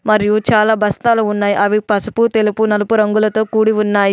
మరియు చాలా బస్తాలు ఉన్నాయి. అవి పసుపు తెలుపు నలుపు రంగులతో కూడి ఉన్నాయి.